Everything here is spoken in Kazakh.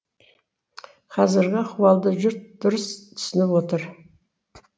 қазіргі ахуалды жұрт дұрыс түсініп отыр